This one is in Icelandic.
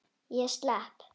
Ég slepp.